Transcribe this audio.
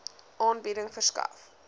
aanbieding verskaf